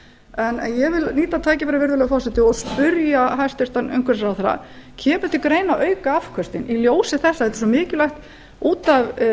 en ég vil nýta tækifærið virðulegi forseti og spyrja hæstvirtur umhverfisráðherra kemur til greina að auka afköstin í ljósi þess að það er svo mikilvægt út af